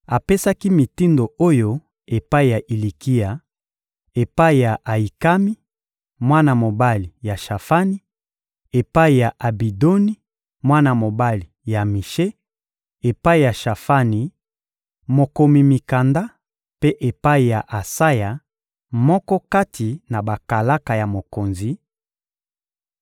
apesaki mitindo oyo epai ya Ilikia, epai ya Ayikami, mwana mobali ya Shafani; epai ya Abidoni, mwana mobali ya Mishe; epai ya Shafani, mokomi mikanda, mpe epai ya Asaya, moko kati na bakalaka ya mokonzi: